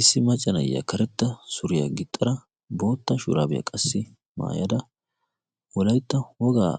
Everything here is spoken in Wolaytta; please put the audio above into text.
issi maccanayya karetta suriyaa gixxara bootta shuraabiyaa qassi maayada wolaitta wogaa